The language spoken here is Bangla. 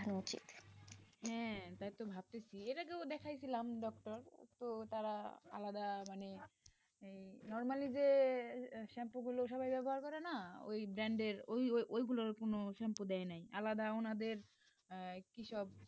বিয়ের আগেও দেখাইছিলাম, doctor তো ওটা আলাদা মানে এই normally যে shampoo গুলা সবাই ব্যবহার করে না ওই brand এর ওই গুলার কোন shampoo দেয় নাই, আলাদা ওনাদের কি সব,